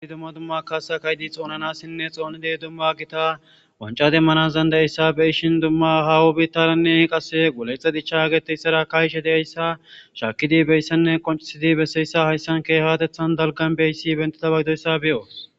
asi dumma dumma kaasa kaydi xoonanassinne xoonidey dumma gita wanca demmana zanda7yssabeyishin dumma haawo biittalanne qasse golexe dicha geteyssara kaishe deyayssa shaakidi beyssanne qoncisidi besseyssa hayssan keehatethan dalgan beyssi bentida bagidoyssa beyo